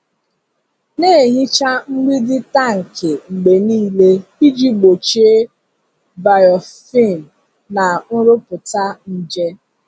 Na-ehicha mgbidi tankị mgbe niile iji gbochie biofilm na nrụpụta nje.